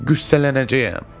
Qüssələnəcəyəm.